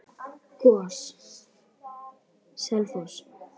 GOS- Selfoss